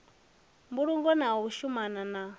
mbulungo na u shumana na